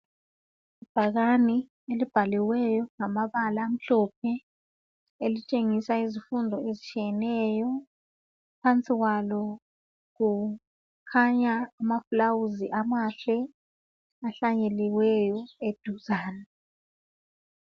Ibhakane elibhaliweyo ngamabala amhlophe elitshengisa izifundo ezitshiyeneyo phansi kwalo kukhanya amaluba amahle ahlanyeliweyo eduzane